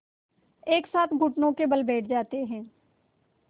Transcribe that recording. एक साथ घुटनों के बल बैठ जाते हैं